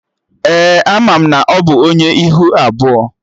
Ee, ana m na ọ bụ Onye ihu abụọ